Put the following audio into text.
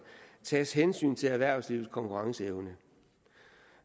tages hensyn til erhvervslivets konkurrenceevne